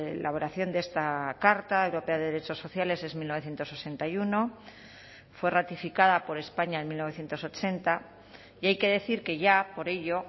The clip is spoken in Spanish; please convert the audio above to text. elaboración de esta carta europea de derechos sociales en mil novecientos sesenta y uno fue ratificada por españa en mil novecientos ochenta y hay que decir que ya por ello